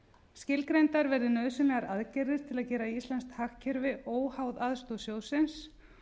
skilgreindar verði nauðsynlegar aðgerðir til að gera íslenskt hagkerfi óháð aðstoð sjóðsins